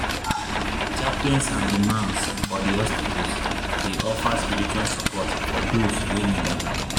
ah chaplains and imams for di hospitals dey offer spiritual support for doze wey need am.